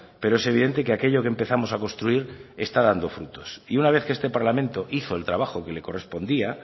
pero es evidente que aquello que empezamos a construir está dando frutos y una vez que este parlamento hizo el trabajo que le correspondía